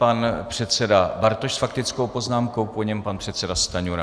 Pan předseda Bartoš s faktickou poznámkou, po něm pan předseda Stanjura.